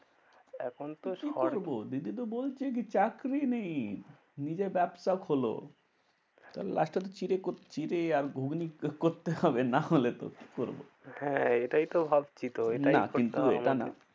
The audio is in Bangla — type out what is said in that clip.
এখন তো সরকারি তো কি করবো? দিদি তো বলছে কি? চাকরি নেই নিজে ব্যবসা খোলো। last এ তো চিড়ে করতে চিড়ে আর ঘুগনি করতে হবে নাহলে তো কি করবো? হ্যাঁ এটাই তো ভাবছি তো না এটাই করতে হবে কিন্তু এটা না।